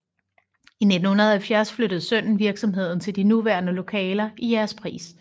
I 1970 flyttede sønnen virksomheden til de nuværende lokaler i Jægerspris